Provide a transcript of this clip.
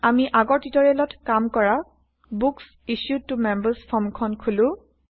আমি আগৰ টিউটৰিয়েলত কাম কৰা বুক্স ইছ্যুড ত মেম্বাৰ্ছ ফৰ্মখন খোলা